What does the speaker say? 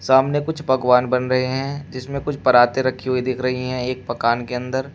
सामने कुछ पकवान बन रहे हैं जिसमें कुछ पराते रखी हुई दिख रही हैं एक मकान के अंदर।